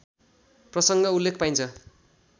प्रसङ्ग उल्लेख पाइन्छ